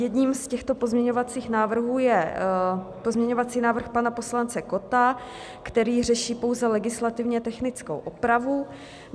Jedním z těchto pozměňovacích návrhů je pozměňovací návrh pana poslance Kotta, který řeší pouze legislativně technickou opravu.